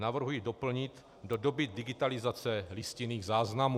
Navrhuji doplnit "do doby digitalizace listinných záznamů".